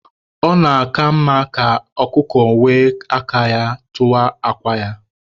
Ọ na-aka mma ka ọkụkọ were aka ya tụwaa akwa ya.